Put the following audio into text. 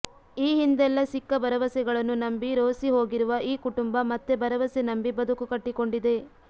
ಈ ಹಿಂದೆಲ್ಲಾ ಸಿಕ್ಕ ಭರವಸೆಗಳನ್ನು ನಂಬಿ ರೋಸಿ ಹೋಗಿರುವ ಈ ಕುಟುಂಬ ಮತ್ತೆ ಭರವಸೆ ನಂಬಿ ಬದುಕು ಕಟ್ಟಿಕೊಂಡಿದೆ